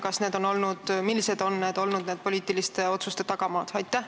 Ning millised on olnud nende poliitiliste otsuste tagamaad?